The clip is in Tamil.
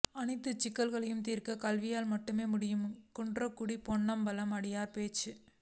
அனைத்து சிக்கலையும் தீர்க்க கல்வியால் மட்டுமே முடியும் குன்றக்குடி பொன்னம்பல அடிகளார் பேச்சு